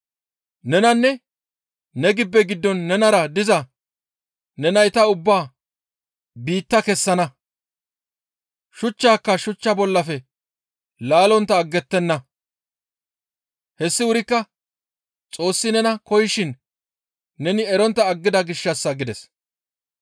Nenanne ne gibbe giddon nenara diza ne nayta ubbaa biitta kessana; shuchchaaka shuchcha bollafe laallontta aggettenna. Hessi wurikka Xoossi nena koyishin neni erontta aggida gishshassa» gides.